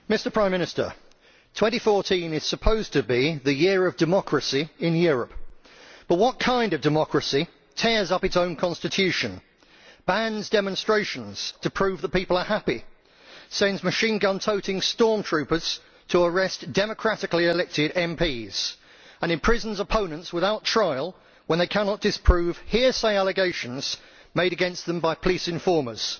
Madam President, Prime Minister, 2014 is supposed to be the year of democracy in Europe, but what kind of democracy tears up its own constitution, bans demonstrations to prove the people are happy, sends machine gun toting storm troopers to arrest democratically elected MPs and imprisons opponents without trial when they cannot disprove hearsay allegations made against them by police informers?